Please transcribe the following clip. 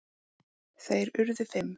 Þeir urðu fimm.